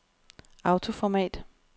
autoformat